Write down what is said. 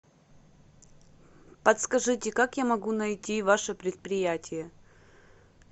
подскажите как я могу найти ваше предприятие